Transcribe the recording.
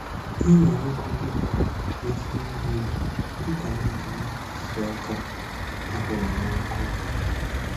Ị nọrọgodi n'ofe mmiri, Ị ga na-anụ isi ọka a hụrụ n'ọkụ